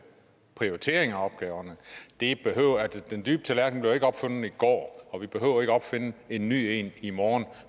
prioritering af opgaverne den dybe tallerken blev ikke opfundet i går og vi behøver ikke opfinde en ny en i morgen